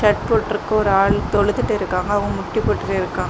Shirt போட்ருக்க ஒரு ஆளு தொழுதுட்டு இருக்காங்க அவங்க முட்டி போட்டுட்டிருக்காங்க.